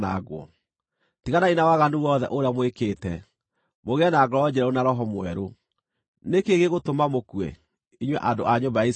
Tiganai na waganu wothe ũrĩa mwĩkĩte, mũgĩe na ngoro njerũ na roho mwerũ. Nĩ kĩĩ gĩgũtũma mũkue, inyuĩ andũ a nyũmba ya Isiraeli?